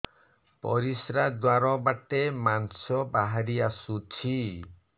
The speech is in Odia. ପରିଶ୍ରା ଦ୍ୱାର ବାଟେ ମାଂସ ବାହାରି ଆସୁଛି